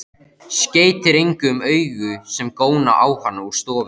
Skeytir engu um augu sem góna á hann úr stofunni.